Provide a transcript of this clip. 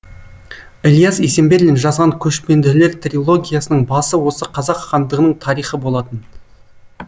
ілияс есенберлин жазған көшпенділер трилогиясының басы осы қазақ хандығының тарихы болатын